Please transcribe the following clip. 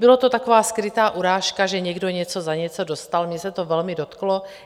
Byla to taková skrytá urážka, že někdo něco za něco dostal, mě se to velmi dotklo.